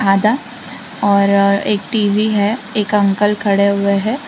आधा और एक टी_वी है। एक अंकल खड़े हुए है।